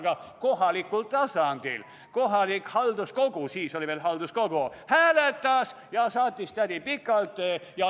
Aga kohalikul tasandil kohalik halduskogu hääletas ja saatis tädi pikalt.